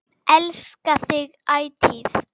Elska þig ætíð.